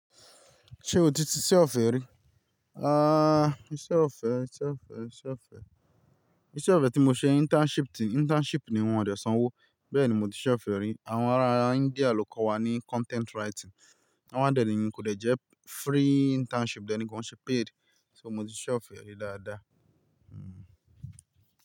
Ṣé o ti ṣiṣẹ́ ọ̀fẹ́ rí? Iṣẹ́ ọ̀fẹ́, iṣẹ́ ọ̀fẹ́, iṣẹ́ ọ̀fẹ́. Iṣẹ́ ọ̀fẹ́ tí mo ṣe internship ti, internship ni wọ́n ò dẹ̀ sanwó, bẹ́ẹ̀ ni mo ti sì ṣe ọ̀fẹ́ rí. Àwọn ará India ló kọ́ wa ní content writing. Àwọn dẹ̀ni kò jẹ́ free internship dẹ̀ni, kọn ṣe paid. So mo ti sì ṣe ọ̀fẹ́ rí dáadáa.